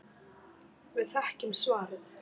Við þekkjum svarið.